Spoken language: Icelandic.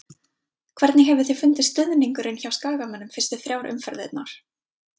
Hvernig hefur þér fundist stuðningurinn hjá skagamönnum fyrstu þrjár umferðirnar?